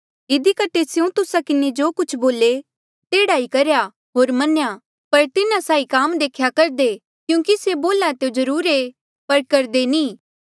इधी कठे स्यों तुस्सा किन्हें जो कुछ बोले तेह्ड़ा ई करेया होर मन्या पर तिन्हा साहीं काम देख्या करदे क्यूंकि स्यों बोल्हा ऐें ता जरुर ऐें पर करदे नी